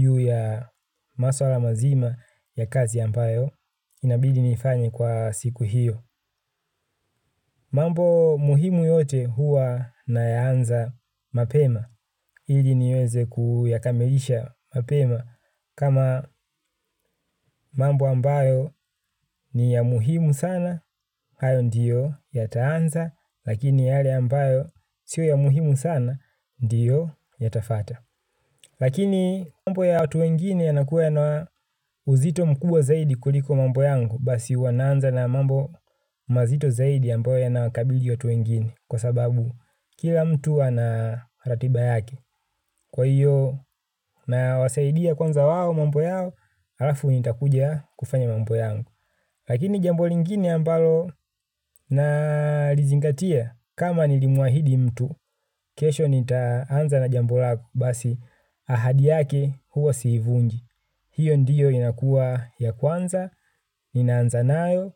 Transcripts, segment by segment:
Juu ya maswala mazima ya kazi ampayo inabidi niifanye kwa siku hiyo. Mambo muhimu yote huwa nayaanza mapema. Ili niweze kuyakamilisha mapema. Kama mambo ambayo ni ya muhimu sana hayo ndiyo yataanza. Lakini yale ambayo sio ya muhimu sana ndiyo yatafata. Lakini mambo ya watu wengine yanakuwa yana uzito mkuwa zaidi kuliko mambo yangu. Basi huwa naanza na mambo mazito zaidi ya ambayo yanawakabili watu wengine. Kwa sababu kila mtu ana ratiba yake. Kwa hiyo nawasaidia kwanza wao mambo yao, alafu nitakuja kufanya mambo yangu. Lakini jambo lingine ambalo nalizingatia kama nilimuahidi mtu, kesho nitaanza na jambo lako basi ahadi yake huwa siivunji. Hiyo ndiyo inakua ya kwanza, ninaanza nayo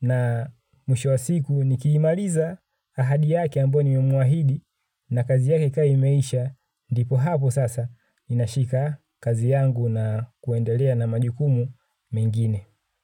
na mwisho wa siku nikiimaliza ahadi yake ambayo nimemwahidi na kazi yake ka imeisha dipo hapo sasa inashika kazi yangu na kuendelea na majukumu mengine.